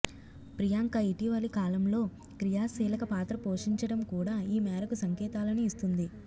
ప్రియాంక ఇటీవలి కాలంలో క్రియాశీలక పాత్ర పోషించడం కూడా ఈ మేరకు సంకేతాలను ఇస్తోంది